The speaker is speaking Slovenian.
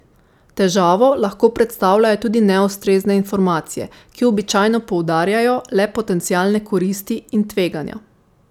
Težavo lahko predstavljajo tudi neustrezne informacije, ki običajno poudarjajo le potencialne koristi in tveganja.